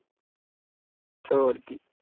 ਤੇ ਹੋਰ ਕੀ